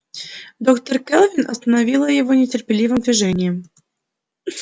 доктор кэлвин остановила его нетерпеливым движением